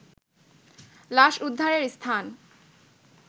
লাশ উদ্ধারের স্থান